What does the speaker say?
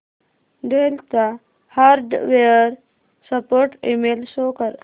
del चा hardware support email show कर